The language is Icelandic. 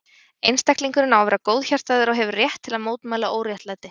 Einstaklingurinn á að vera góðhjartaður og hefur rétt til að mótmæla óréttlæti.